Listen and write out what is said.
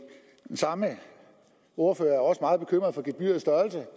samme ordfører er også meget bekymret for gebyrets størrelse